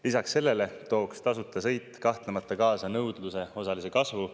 Lisaks sellele tooks tasuta sõit kahtlemata kaasa nõudluse osalise kasvu.